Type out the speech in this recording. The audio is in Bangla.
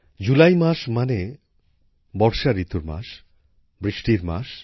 জুলাই মাস মানে বর্ষা ঋতুর মাস বৃষ্টির মাস